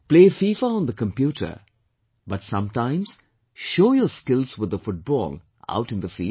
Play FIFA on the computer, but sometimes show your skills with the football out in the field